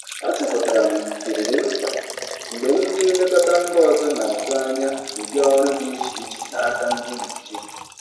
Achọpụtara m ndidi dị mkpa mgbe ndị nlekọta mba ọzọ na-atụ anya ụdị ọrụ dị iche iche n'aka ndị Naijiria.